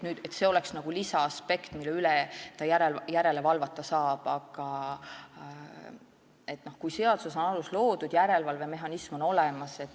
Nüüd on veel nagu lisaaspekt, mille üle ta saab järele valvata, kuna seaduses on selleks alus loodud, järelevalvemehhanism on olemas.